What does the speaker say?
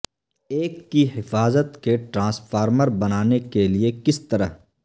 ایک کی حفاظت کے ٹرانسفارمر بنانے کے لئے کس طرح